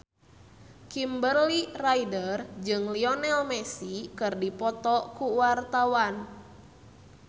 Kimberly Ryder jeung Lionel Messi keur dipoto ku wartawan